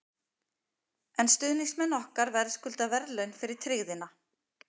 En stuðningsmenn okkar verðskulda verðlaun fyrir tryggðina.